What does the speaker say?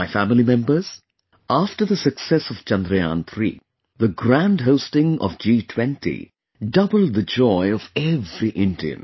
My family members, after the success of Chandrayaan3, the grand hosting of G20 doubled the joy of every Indian